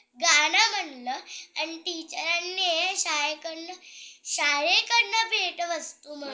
गाणं म्हणलं आणि टिचरांनी शाळेकडन शाळेकडन भेट वस्तू म्हणून